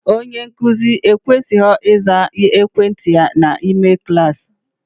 Onye nkụzi ekwesighi iza ekwentị ya n'ime kalasi